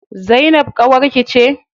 Zainab ƙawarki ce?